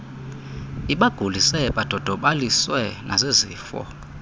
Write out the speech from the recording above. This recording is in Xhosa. ibagulise badodobaliswe nazizifo